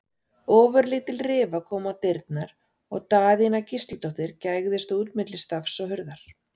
Ofurlítil rifa kom á dyrnar og Daðína Gísladóttir gægðist út á milli stafs og hurðar.